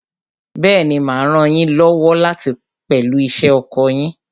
Bẹ́ẹ̀ni, mà á ràn yín lọ́wọ́ pẹ̀lú iṣẹ́ oko yín.